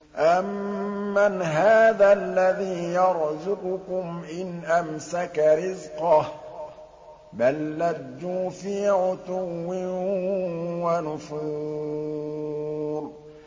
أَمَّنْ هَٰذَا الَّذِي يَرْزُقُكُمْ إِنْ أَمْسَكَ رِزْقَهُ ۚ بَل لَّجُّوا فِي عُتُوٍّ وَنُفُورٍ